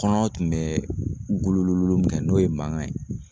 Kɔnɔ tun bɛ gululululu min kɛ n'o ye mankan ye